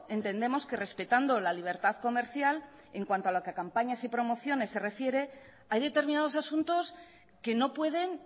entendemos que respetando la libertad comercial en cuanto a lo que a campañas y promociones se refiere hay determinados asuntos que no pueden